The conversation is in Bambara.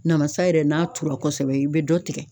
Namasa yɛrɛ n'a tura kɔsɛbɛ, i bɛ dɔ tigɛ.